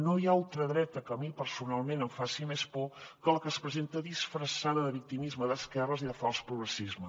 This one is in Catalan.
no hi ha ultradreta que a mi personalment em faci més por que la que es presenta disfressada de victimisme d’esquerres i de fals progressisme